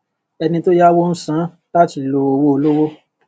ẹni tó yáwó ń san án láti lo owó olówó